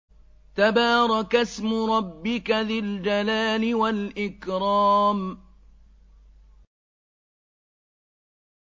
تَبَارَكَ اسْمُ رَبِّكَ ذِي الْجَلَالِ وَالْإِكْرَامِ